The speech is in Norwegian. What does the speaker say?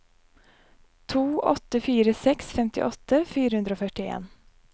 to åtte fire seks femtiåtte fire hundre og førtien